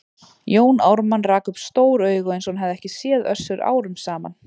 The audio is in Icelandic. Jón Ármann rak upp stór augu eins og hann hefði ekki séð Össur árum saman.